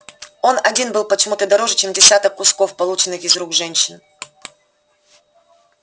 он один был почему-то дороже чем десяток кусков полученных из рук женщин